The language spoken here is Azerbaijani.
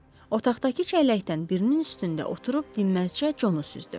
Otaqdakı çəlləkdən birinin üstündə oturub dinməzcə conu süzdü.